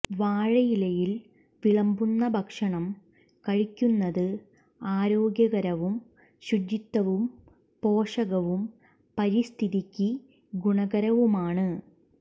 വാഴയിലയിൽ വിളമ്പുന്ന ഭക്ഷണം കഴിക്കുന്നത് ആരോഗ്യകരവും ശുചിത്വവും പോഷകവും പരിസ്ഥിതിക്ക് ഗുണകരവുമാണ്